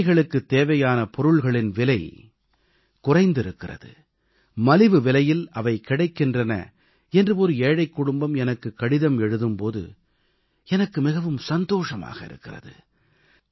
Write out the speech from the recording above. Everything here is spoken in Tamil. ஏழைகளுக்குத் தேவையான பொருள்களின் விலை குறைந்திருக்கிறது மலிவு விலையில் அவை கிடைக்கின்றன என்று ஒரு ஏழை எனக்குக் கடிதம் எழுதும் போது எனக்கு மிகவும் சந்தோஷமாக இருக்கிறது